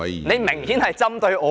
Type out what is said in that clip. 你明顯針對我。